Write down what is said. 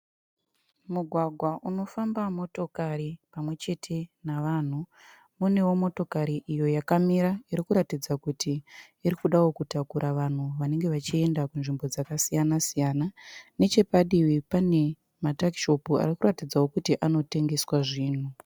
Mugwagwa unofamba motokari pamwechete navanhu. Munewo motokari iyo yakamira irikuratidza kuti irikudawo kutakura vanhu vanenge vachienda kunzvimbo dzakasiyana-siyana. Nechepadivi pane matakishopu arikuratidza kuti anotengeswa zvinhu.